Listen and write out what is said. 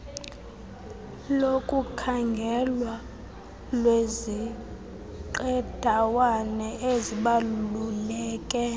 lokukhangelwa lweziqendawana ezibaluleke